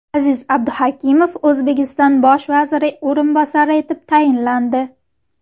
Aziz Abduhakimov O‘zbekiston bosh vaziri o‘rinbosari etib tayinlandi.